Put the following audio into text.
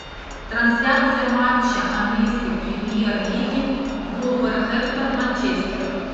трансляция матча английской премьер лиги вулверхэмптон манчестер